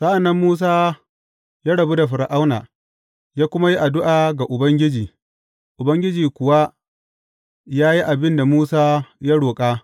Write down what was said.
Sa’an nan Musa ya rabu da Fir’auna, ya kuma yi addu’a ga Ubangiji, Ubangiji kuwa ya yi abin da Musa ya roƙa.